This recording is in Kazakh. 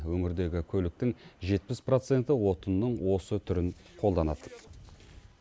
өңірдегі көліктің жетпіс проценті отынның осы түрін қолданады